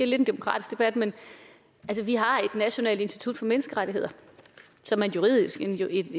lidt en demokratisk debat men vi har et nationalt institut for menneskerettigheder som er en juridisk enhed i